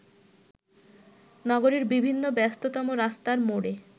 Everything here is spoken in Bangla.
নগরীর বিভিন্ন ব্যস্ততম রাস্তার মোড়ে